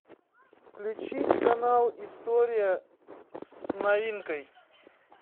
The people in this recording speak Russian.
включи канал история с новинкой